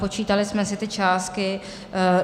Počítali jsme si ty částky.